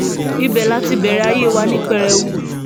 ibẹ̀ la ti bẹ̀rẹ̀ ayé wa ní pẹrẹwu